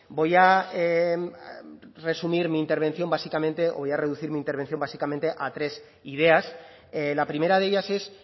voy a resumir mi intervención básicamente o voy a reducir mi intervención básicamente a tres ideas la primera de ellas es